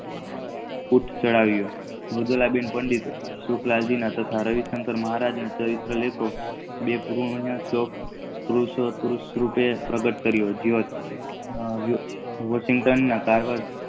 વૃત્તચડવીઓ સુકલબેન પંડિત અને તથા રવિચંદ્ર મહારાજ ના બે ગુહિણીઓ શોક પુરુષાર્થ રૂપે પ્રગટ કારીઓ વોસિતં ના કારણ ચડાવેલી